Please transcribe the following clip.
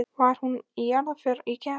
Var hún í jarðarför í gær?